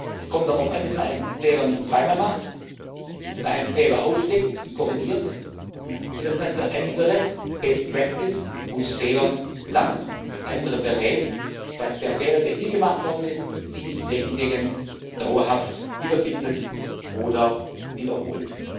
Es kommt darauf an, dass man einen Fehler nicht zweimal macht, dass man einen Fehler aufdeckt und korrigiert und dass man für andere Best Practice aus Fehlern lernt und andere berät, damit der Fehler, der hier gemacht worden ist, sich nicht flächendeckend dauerhaft wiederfindet oder wiederholt.